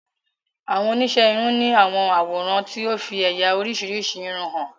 Awon onise irun ni awọn aworan ti o fi eya orisirisi irun han